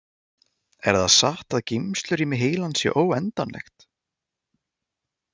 Er það satt að geymslurými heilans sé óendanlegt?